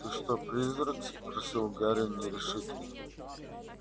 ты что призрак спросил гарри нерешительно